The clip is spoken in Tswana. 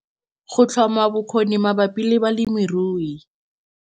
Go tlhoma bokgoni mabapi le balemirui